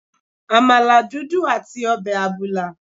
Àmàlà dúdú àti ọbẹ̀ àbùlà.